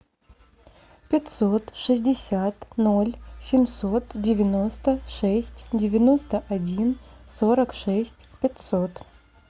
пятьсот шестьдесят ноль семьсот девяносто шесть девяносто один сорок шесть пятьсот